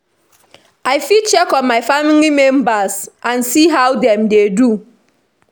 I fit check on my family members and see how dem dey do.